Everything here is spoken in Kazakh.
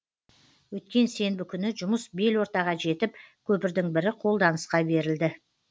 өткен сенбі күні жұмыс бел ортаға жетіп көпірдің бірі қолданысқа берілді